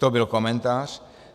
To byl komentář.